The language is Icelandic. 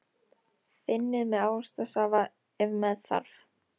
Þynnið með ávaxtasafa ef með þarf.